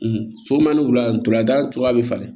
Somanni wula ntolan da cogoya be falen